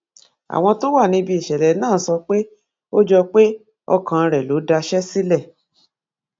àwọn tó wà níbi ìṣẹlẹ náà sọ pé ó jọ pé ọkàn rẹ ló daṣẹ sílẹ